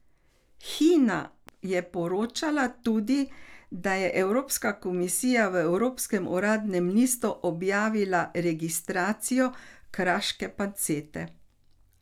Hina je poročala tudi, da je Evropska komisija v evropskem uradnem listu objavila registracijo kraške pancete.